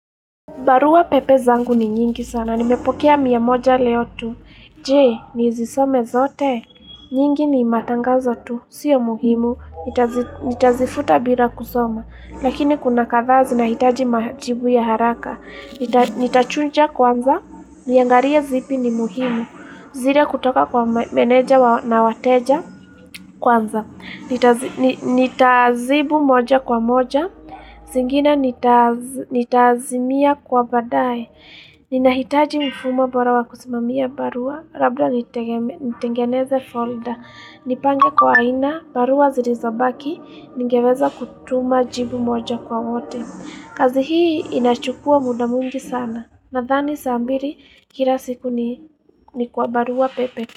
Barua pepe zangu ni nyingi sana, nimepokea mia moja leo tu. Je, nizisome zote, nyingi ni matangazo tu, sio muhimu, nitazifuta bila kusoma. Lakini kuna kathaa zinahitaji majibu ya haraka. Nitachunja kwanza, niangarie zipi ni muhimu, zire kutoka kwa meneja na wateja kwanza. Nitaazibu moja kwa moja singine nitaazimia kwa badae Ninahitaji mfumo bora wa kusimamia barua Rabda nitengeneze folder Nipange kwa aina barua zilizobaki Ningeweza kutuma jibu moja kwa wote kazi hii inachukua muda mwingi sana Nathani saa mbiri kila siku ni kwa barua pepe.